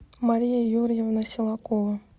мария юрьевна силакова